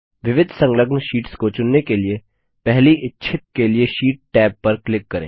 विविध संलग्न शीट्स को चुनने के लिए पहली इच्छित के लिए शीट टैब पर क्लिक करें